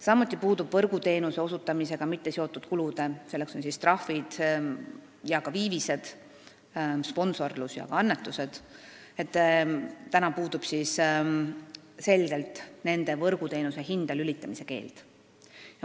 Samuti puudub võrguteenuse osutamisega mitteseotud kulude – need on trahvid, viivised, sponsorlusega seotud väljaminekud ja annetused – võrguteenuse hinda lülitamise keeld.